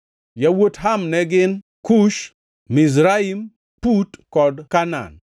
Yawuot Ham ne gin: Kush, Mizraim, Put kod Kanaan.